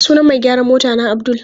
Sunan mai gyaran motana Abdul.